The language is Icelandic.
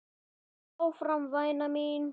Lestu áfram væna mín!